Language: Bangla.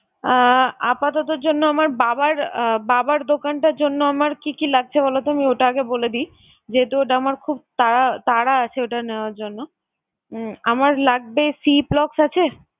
আহ আপাততর জন্য আমার বাবার আহ বাবার দোকানটার জন্য আমার কি কি লাগছে বলতো আমি ওটা আগে বলে দিই, যেহেতু ওইটা আমার খুব তা~ তাড়া আছে ওইটা নেওয়ার জন্য। উম আমার লাগবে ciplox আছে?